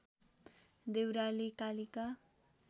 Deurali Kalika